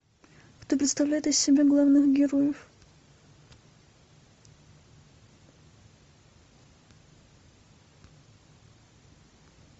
кто представляет из себя главных героев